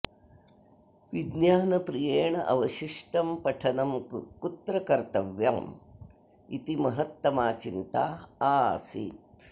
विज्ञानप्रियेण अवशिष्टं पठनं कुत्र कर्तव्यम् इति महत्तमा चिन्ता आसीत्